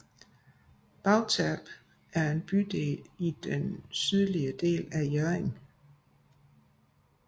Bagterp er en bydel i den sydlige del af Hjørring